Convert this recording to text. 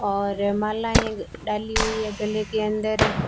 और मालायें डाली हुई है गले के अंदर--